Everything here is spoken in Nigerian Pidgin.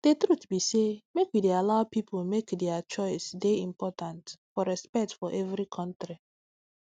d truth be say make we dey allow pipu make dier choice dey important for respect for every kontri